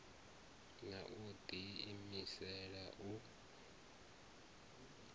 na u ḓi imisela u